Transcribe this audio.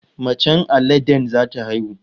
Macen aladen zata haihu